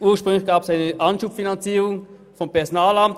Ursprünglich gab es eine Anschubfinanzierung des Personalamts.